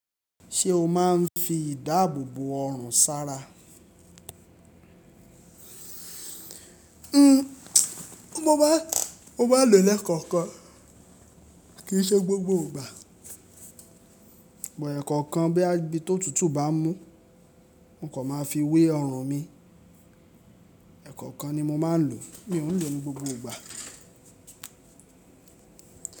Ṣé o máa ń fi ìdáàbò bò ọrùn sára? Mo maá n lò ó lẹ́kọ̀ọ̀kan, kì í ṣe gbogbo ìgbà. But ekankan boya bí i tó tútù bá mú, mo kọ̀ máa fi wé ọrùn mi. Ẹ̀kankan ni mo máa ń lò, mi ò ń lò ó ní gbogbo ìgbà.